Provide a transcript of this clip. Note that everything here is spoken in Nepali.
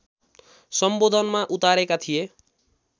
सम्बोधनमा उतारेका थिए